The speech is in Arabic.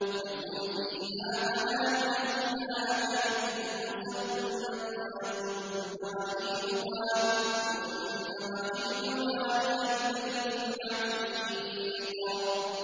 لَكُمْ فِيهَا مَنَافِعُ إِلَىٰ أَجَلٍ مُّسَمًّى ثُمَّ مَحِلُّهَا إِلَى الْبَيْتِ الْعَتِيقِ